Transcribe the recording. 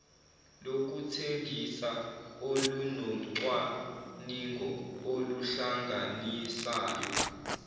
lokuthengisa olunocwaningo oluhlanganisayo